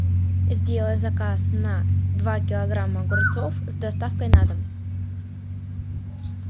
сделай заказ на два килограмма огурцов с доставкой на дом